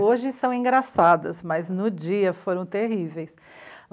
Hoje são engraçadas, mas no dia foram terríveis.